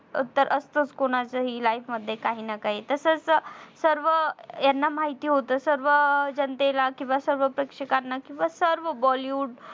तर असतंच कुणाचंही life मध्ये काहीनाकाही तसच सर्व याना माहिती होत सर्व जनतेला किंवा सर्व प्रेक्षकांना किंवा सर्व bollywood